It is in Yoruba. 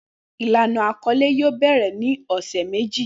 Ilana akọle yoo bẹrẹ ni ọsẹ meji